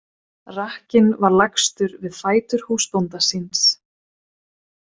Rakkinn var lagstur við fætur húsbónda síns.